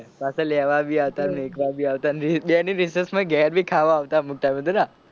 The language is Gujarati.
પાછા લેવા બી આવતા મેક્વા બી આવતા ને બે ની રિશેષ માં ઘેર બી ખાવા આવતા અમુક ટાઇમ એ તો ના.